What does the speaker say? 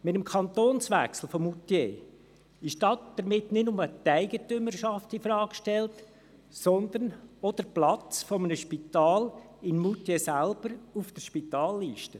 Mit dem Kantonswechsel von Moutier ist nicht nur die Eigentümerschaft infrage gestellt, sondern auch der Platz eines Spitals in Moutier selber auf der Spitalliste.